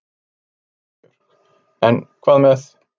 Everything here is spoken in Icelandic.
Rósa Björk: En hvað með.